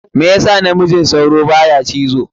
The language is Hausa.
Me yas namijin sauro baya cizo?